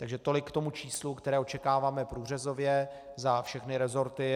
Takže tolik k tomu číslu, které očekáváme průřezově za všechny resorty.